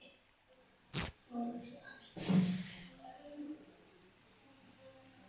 Og alltaf spjall.